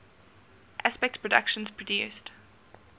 aspect productions produced